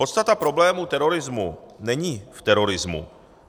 Podstata problému terorismu není v terorismu.